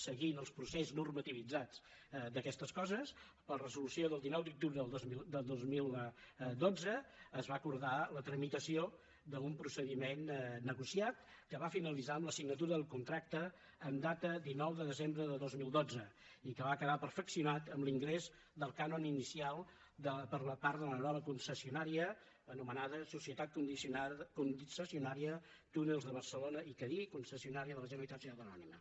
seguint el procés normativitzat d’aquestes coses per resolució del dinou d’octubre del dos mil dotze es va acordar la tramitació d’un procediment negociat que va finalitzar amb la signatura del contracte en data dinou de desembre de dos mil dotze i que va quedar perfeccionat amb l’ingrés del cànon inicial per part de la nova concessionària anomenada societat concessionària túnels de barcelona i cadí concessionària de la generalitat societat anònima